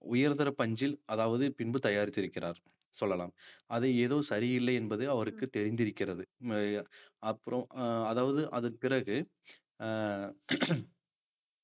உயர்தர பஞ்சில் அதாவது பின்பு தயாரித்திருக்கிறார் சொல்லலாம் அது ஏதோ சரியில்லை என்பது அவருக்குத் தெரிந்திருக்கிறது அப்புறம் அஹ் அதாவது அதன் பிறகு அஹ்